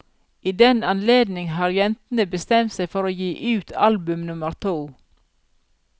I den anledning har jentene bestemt seg for å gi ut album nummer to.